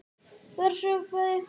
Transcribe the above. var hrópað.